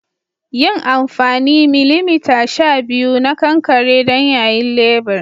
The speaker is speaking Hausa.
yin anfani 12mm na kankare don yayin lebur